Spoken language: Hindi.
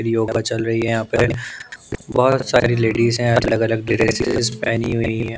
योगा चल रही हैं यहाँ पे बहुत सारी लेडीज हैं अलग-अलग ड्रेसेस पहनी हुई हैं ।